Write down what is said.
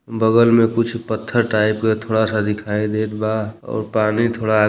बगल में कुछ पत्थर टाइप के थोड़ा सा दिखाई देत बा और पानी थोड़ा --